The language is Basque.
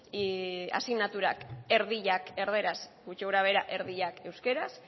eta asignaturak erdiak erdaraz gutxi gora behera erdiak euskeraz